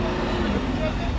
Nə edirəm?